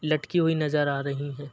लटकी हुई नज़र आ रहीं हैं।